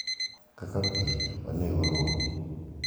kaka pile, wanego rombe.